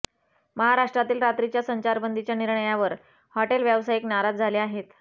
महाराष्ट्रातील रात्रीच्या संचारबंदीच्या निर्णयावर हॉटेल व्यावसायिक नाराज झाले आहेत